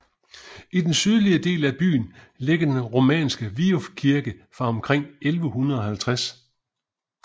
I den sydlige del af byen ligger den romanske Viuf Kirke fra omkring 1150